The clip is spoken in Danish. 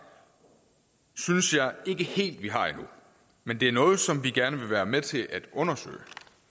synes jeg ikke helt vi har endnu men det er noget som vi gerne vil være med til at undersøge